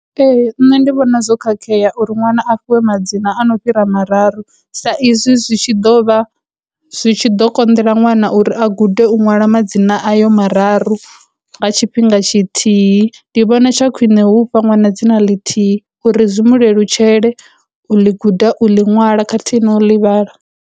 Ee, nṋe ndi vhona zwo khakhea uri nwana a fhiwe madzina a no fhira mararu, sa izwi zwi tshi ḓo vha zwi tshi ḓo konḓela ṅwana uri a gude u ṅwala madzina ayo mararu nga tshifhinga tshithihi, ndi vhona tsha khwine hu fha ṅwana dzina ḽithihi uri zwi mu lelutshele u ḽi guda u ḽi ṅwala khathihi na u ḽi vhala.